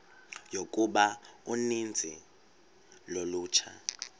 yokuba uninzi lolutsha